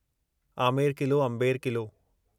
आमेर क़िलो अंबेर क़िलो